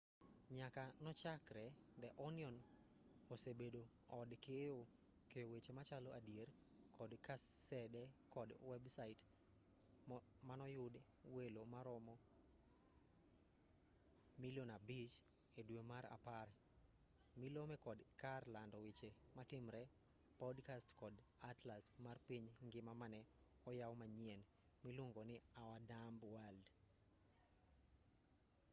nyaka nochakre the onion osebedo od keyo weche machalo adier kod kasede kod websait manoyudo welo maromo 5,000,000 edwe mar apar milome kod kar lando weche matimre podcasts kod atlas mar piny ngima mane oyaw manyien miluongonii our dumb world